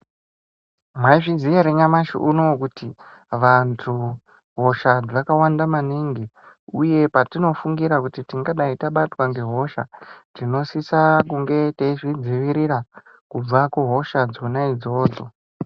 Mwaizviziya ere nyamshi uno kuti vantu hosha dzakawanda maningi uye patinofungira kuti tingadai tabatwa ngehosha tinosisa kunge teizvidzivirira kubve kuhosha dzona idzodzo.